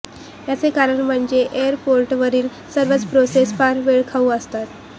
याचं कारण म्हणजे एअरपोर्टवरील सर्वच प्रोसेस फार वेळखाऊ असतात